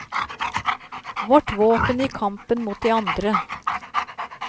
Vårt våpen i kampen mot de andre.